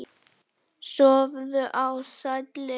Sofðu í sælli ró.